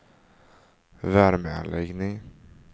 värmeanläggning